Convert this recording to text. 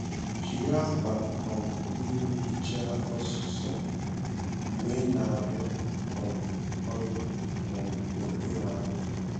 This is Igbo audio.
Jiri ákwà um mmiri hichaa ọsụsọ mgbe ị na-arụ um ọrụ um n’okpuru anwụ.